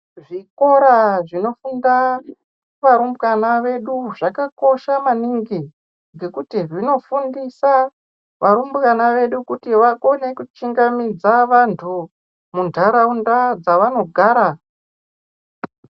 Zvikora zvinofunda varumbwana vedu zvakakosha maningi ngekuti zvinofundisa varumbwana vedu kuti vakone kuchungamidza vantu muntaraunda dzavanogara.